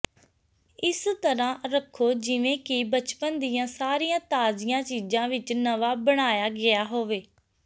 ਇਸ ਤਰ੍ਹਾਂ ਰਖੋ ਜਿਵੇਂ ਕਿ ਬਚਪਨ ਦੀਆਂ ਸਾਰੀਆਂ ਤਾਜ਼ੀਆਂ ਚੀਜ਼ਾਂ ਵਿਚ ਨਵਾਂ ਬਣਾਇਆ ਗਿਆ ਹੋਵੇ